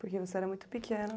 Porque você era muito pequeno